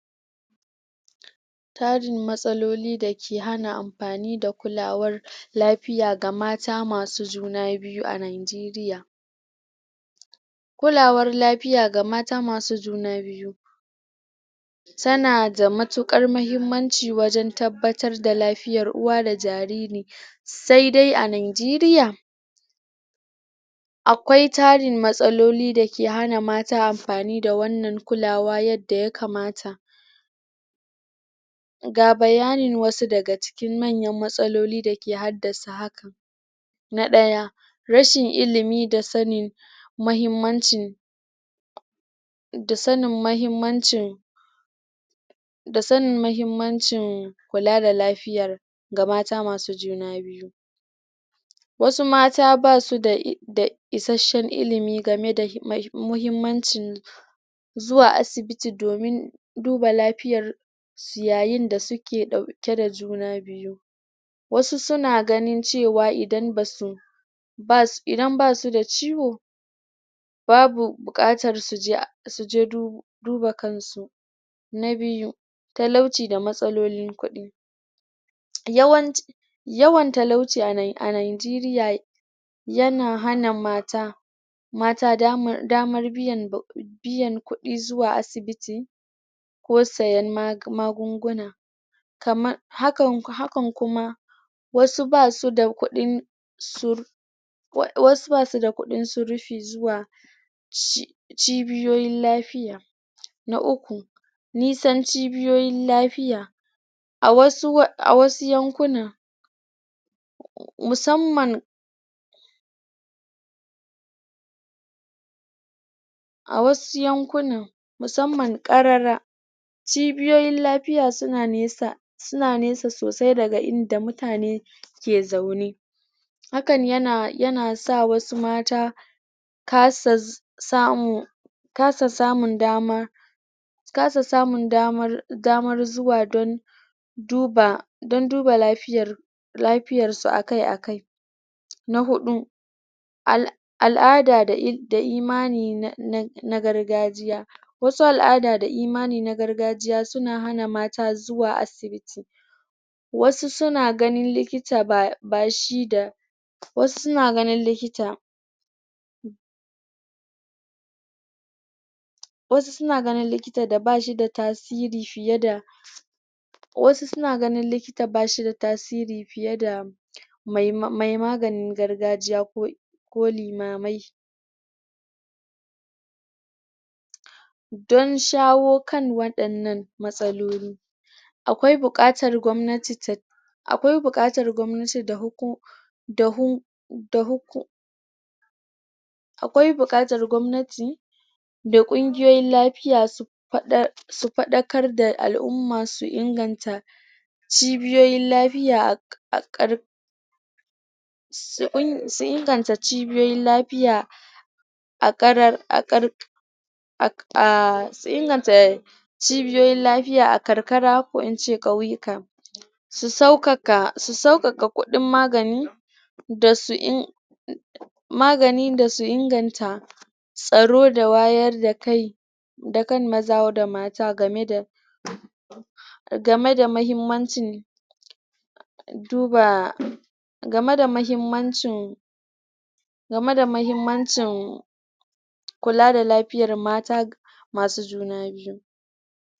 tarin matsaloli dake hana amfani da kulawar lafiya ga mata masu juna biyu a najeriya kulawar lafiya ga mata masu juna biyu tana da matuƙar mahimmanci wajen tabbatar da lafiyar uwa da jariri saidai a najeriya akwai tarin matsaloli dake hana mata amfani da wannan kulawa yadda ya kamaa ga bayanin wasu daga cikin manyan matsaloli dake haddasa haka na ɗaya rashin ilimi da sanin mahimmancin da sanin mahimmancin da sanin mahimmancin kula da lafiyar ga mata masu juna biyu wasu mata basu da da isashen ilimi game da muhimmancin zuwa asibiti domin duba lafiyar su yayin da suke ɗauke da juna biyu wasu suna ganin cewa idan basu basu idan basu da ciwo babu buƙatar suje duba kansu. Na biyu talauci da matsalolin kuɗi yawanci yawan talauci a najeriya yana hana mata mata damar biyan kuɗi zuwa asibiti ko sayan magunguna kama hakan kuma wasu basu da kuɗin wasu basuda kuɗin surfi zuwa cibiyoyin lafiya. Na uku nisan cibiyoyin lafiya a wasu yankuna musamman a wasu yankunan musamman ƙarara cibiyoyin lafiya suna nesa sosai daga inda mutane ke zaune. hakan yana yana sa wasu mata kasa samun kasa samun dama kasa samun damar damar zuwa don duba don duba lafiyar lafiyar su akai-akai na huɗu al'ada da imani na na na gargajiya wasu al'ada da imani na gargajiya suna hana mata zuwa asibiti wasu suna ganin likita bash bashi da wasu suna ganin likita wasu suna ganin likita da bashi da tasiri fiye da wasu suna ganin likita bashida tasiri fiye da mai ma mai maganin gargajiya ko ko limamai don shawo kan waɗannan matsaloli akwai bukatar gwamnati ta akwai buƙatar gwamnati da huku da hu da huku akwai buƙatar gwamnati da ƙungiyoyin lafiya su faɗa su faɗakar da al'umma su inganta cibiyoyin lafiya a ka su inganta cibiyoyin lafiya a ƙarar a ƙar a su inganta cibiyoyin lafiya a karkara ko ince ƙauyika su sauƙaƙa su sauƙaƙa kudin magani dasu in magani da su inganta tsaro da wayar da kai dakan maza da mata gameda game da mahimmancin duba game da mahimmancin game da mahimmancin kula da lafiya mata masu juna biyu